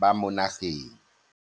ba mo nageng.